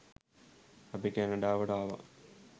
අපි කැනඩාවට ආවා